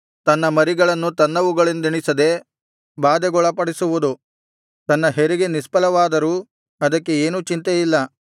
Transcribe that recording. ತನ್ನ ಮರಿಗಳನ್ನು ತನ್ನವುಗಳೆಂದೆಣಿಸದೆ ಬಾಧೆಗೊಳಪಡಿಸುವುದು ತನ್ನ ಹೆರಿಗೆ ನಿಷ್ಫಲವಾದರೂ ಅದಕ್ಕೆ ಏನೂ ಚಿಂತೆ ಇಲ್ಲ